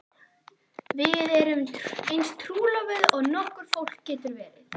Við erum eins trúlofuð og nokkurt fólk getur verið.